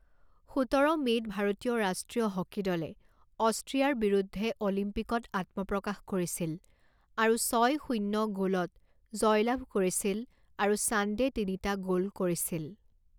সোতৰ মে'ত ভাৰতীয় ৰাষ্ট্ৰীয় হকী দলে অষ্ট্ৰিয়াৰ বিৰুদ্ধে অলিম্পিকত আত্মপ্ৰকাশ কৰিছিল আৰু ছয় শূণ্য গ'লত জয়লাভ কৰিছিল আৰু চান্দে তিনিটা গ'ল কৰিছিল।